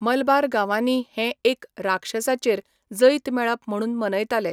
मलबार गांवांनी हें एक राक्षसाचेर जैत मेळप म्हणून मनयताले.